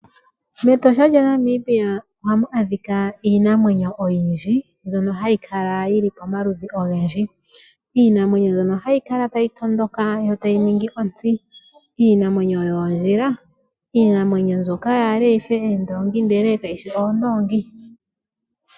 MEtosha o moNamibia hamu adhika iinamwenyo oyindji mbyono hayi kala yi li pamaludhi ogendji. Iinamwenyo mbyono hayi kala tayi tondoka yo otayi ningi ontsi, iinamwenyo yoondhila, iinamwenyo mbyoka yaale yi fe oondoongi, ihe kayi shi oondoongi.